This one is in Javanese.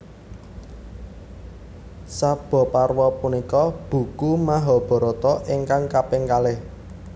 Sabhaparwa punika buku Mahabharata ingkang kaping kalih